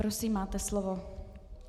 Prosím, máte slovo.